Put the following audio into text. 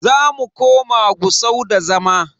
Zamu koma Gusau da zama.